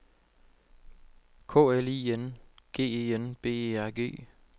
K L I N G E N B E R G